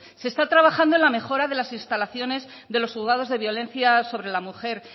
se está trabajando en la mejora de las instalaciones de los juzgados de violencia sobre la mujer